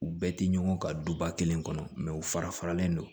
U bɛɛ tɛ ɲɔgɔn ka duba kelen kɔnɔ u fara faralen do